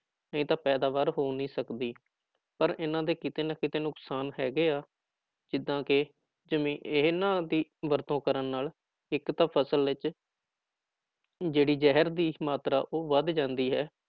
ਨਹੀਂ ਤਾਂ ਪੈਦਾਵਾਰ ਹੋ ਨਹੀਂ ਸਕਦੀ, ਪਰ ਇਹਨਾਂ ਦੇ ਕਿਤੇ ਨਾ ਕਿਤੇ ਨੁਕਸਾਨ ਹੈਗੇ ਆ ਜਿੱਦਾਂ ਕਿ ਜ਼ਮੀ ਇਹਨਾਂ ਦੀ ਵਰਤੋਂ ਕਰਨ ਨਾਲ ਇੱਕ ਤਾਂ ਫ਼ਸਲ ਵਿੱਚ ਜਿਹੜੀ ਜ਼ਹਿਰ ਦੀ ਮਾਤਰਾ ਉਹ ਵੱਧ ਜਾਂਦੀ ਹੈ।